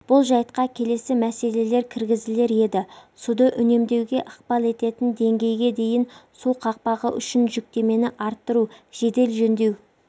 бұл жайтқа келесі мәселелер кіргізілер еді суды үнемдеуге ықпал ететін деңгейге дейінгі су қақпағы үшін жүктемені арттыру жедел жөндеу